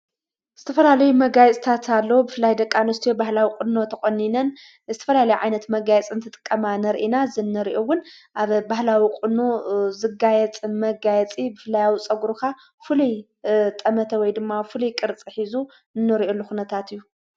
ዝተፈላለዩ መጋይጽታት ኣሎ ብፍላይ ደቃንስቱ የባህላዊ ቕኖ ተቖኒነን ዝተፈላለዩ ዓይነት መጋየጺ ክጥቀማ ነርኢና ዝነርዩውን ኣብ ባህላዊ ቕኑ ዘጋየጽ መጋየጺ ብፍላያዊ ጸጕሩኻ ፍሉይ ጠመተ ወይ ድማ ፍሉይ ቕርጽ ኂዙ እንርእየሉ ኹነታት እዩ::